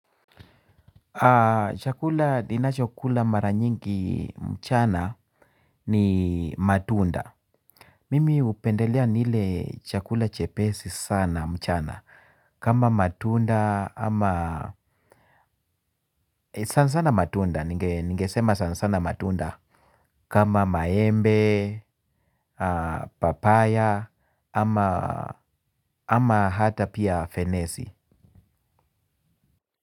Chakula nina cho kula mara nyingi mchana ni matunda. Mimi hupendelea nile chakula chepesi sana mchana. Kama matunda ama sana sana matunda. Ningesema sana sana matunda. Kama maembe, papaya ama hata pia fenesi.